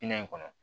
Minɛ in kɔnɔ